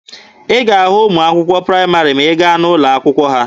Ị ga-ahụ ụmụ akwụkwọ praịmarị ma ị gaa n'ụlọ akwụkwọ ha.